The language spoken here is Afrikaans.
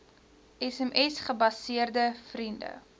sms gebaseerde vriende